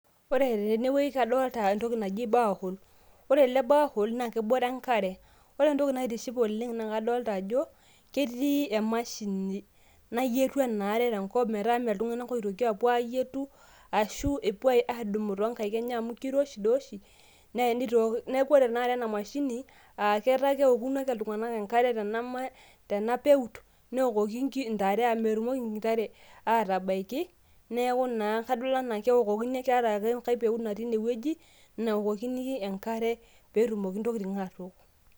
Ore tenewueji kadolta entoki naji cs borehole cs ore ele cs borehole cs na kebore enkare ore entoki naitiship oleng naa kadolta ajo ketii emashini nayietu enaare tenkop metaa maltunganak oitoki apuo ayietu ashu epuo adumo tonkaik enye amu keiroshi dooshi. Neaku ore enaare enamashini ee ata keoku ake ltunganak enkare tenapeut neokoki ntare amu metumoki ntare atabaki neaku naa kadol anaa keokokini keata ake enkae peut teinewueji naokokini enkare petum ake ntokitin atook.